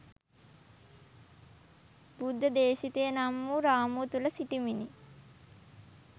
බුද්ධ දේශිතය නම් වූ රාමුව තුල සිටිමිනි.